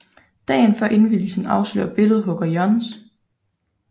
Dagen før indvielsen afsløres billedhugger Johs